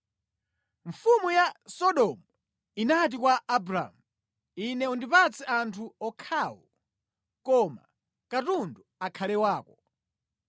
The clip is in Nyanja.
Mfumu ya Sodomu inati kwa Abramu, “Ine undipatse anthu okhawo, koma katundu akhale wako.”